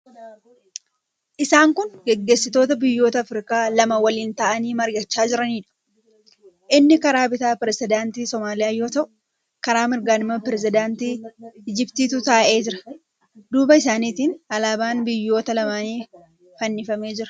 Isaan kun gaggeessitoota biyyoota Afirikaa lama waliin taa'anii mari'achaa jiraniidha. Inni karaa bitaa pirezidaantii Somaaliyaa yoo ta'u, karaa mirgaan immoo pirezidaantii Ijiptiitu taa'ee jira. Duuba isaaniitiin alaabaan biyyoota lamaanii fannifamee jira.